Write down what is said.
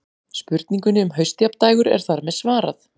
Spurningunni um haustjafndægur er þar með svarað.